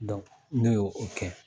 ne ye o kɛ.